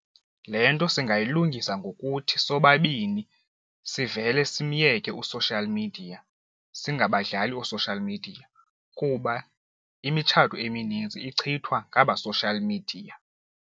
Le nto singayilungisa ngokuthi sobabini sivele simyeke u-social media singabadlali oo-social media kuba imitshato eminintsi ichithwa ngaba social media.